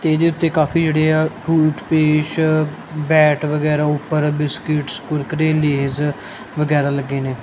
ਇਹਦੇ ਉੱਤੇ ਕਾਫੀ ਜਿਹੜੇ ਆ ਟੁੱਥ ਪੇਸਟ ਬੈਟ ਵਗੈਰਾ ਉੱਪਰ ਬਿਸਕਿਟਸ ਕੁਰਕਰੇ ਲੇਜ਼ ਵਗੈਰਾ ਲੱਗੇ ਨੇ।